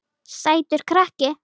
Sætur krakki!